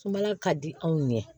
Sumala ka di anw ɲɛ